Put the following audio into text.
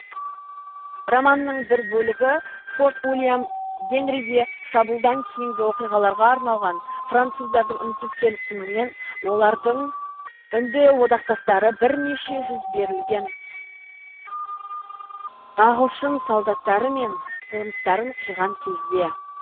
романның бір бөлігі форт уильям генриге шабуылдан кейінгі оқиғаларға арналған француздардың үнсіз келісімімен олардың үнді одақтастары бірнеше жүз берілген ағылшын солдаттары мен қоныстарын қиған кезде